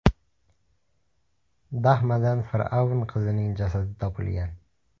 Dahmadan fir’avn qizining jasadi topilgan.